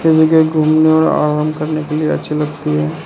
ये जगह घूमने और आराम करने के लिए अच्छी लगती है।